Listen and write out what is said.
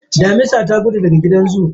Damisa ta gudu daga gidan zoo